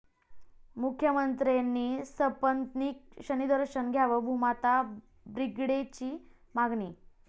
मुख्यमंत्र्यांनी सपत्नीक शनीदर्शन घ्यावं, भूमाता ब्रिगेडची मागणी